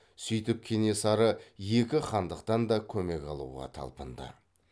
сөйтіп кенесары екі хандықтан да көмек алуға талпынды